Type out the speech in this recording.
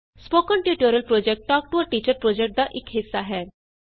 spoken tutorial project talk to a teacher project ਦਾ ਇਕ ਹਿੱਸਾ ਹੈ